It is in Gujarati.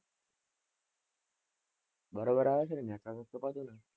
બરોબર આવે છે ને network નહતી કપાતું ને?